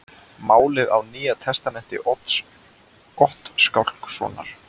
Málið á Nýja testamenti Odds Gottskálkssonar.